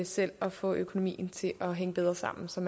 selv at få økonomien til at hænge bedre sammen så